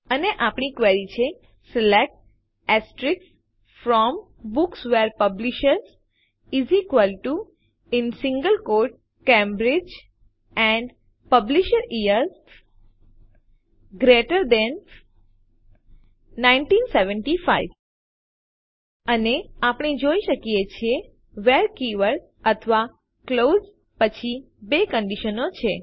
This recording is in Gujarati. અને આપણી ક્વેરી છે select from books where publisher Cambridge and publish year GT 1975 અને આપણે જોઈએ છીએ વ્હેરે કીવર્ડ અથવા ક્લાઉઝ વાક્યાંશ પછી બે કંડીશનો છે